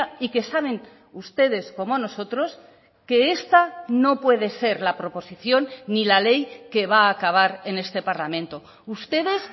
y que saben ustedes como nosotros que esta no puede ser la proposición ni la ley que va a acabar en este parlamento ustedes